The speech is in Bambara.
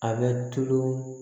A bɛ tulu